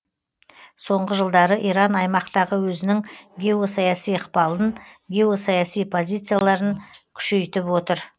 соңғы жылдары иран аймақтағы өзінің геосаяси ықпалын геосаяси позицияларын күшейтіп отыр